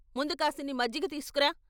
ముందు కాసిని మజ్జిగ తీసుకురా....